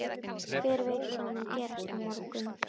Hver veit hvað mun gerast á morgun?